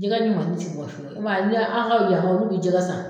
Jɛgɛ ni mami ti bɔri fɔlɔ u ma ni ya a' kaw yaha olu bi jɛgɛ san.